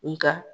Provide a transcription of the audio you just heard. Nga